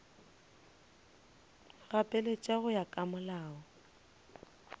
gapeletša go ya ka molao